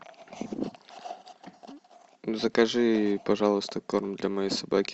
закажи пожалуйста корм для моей собаки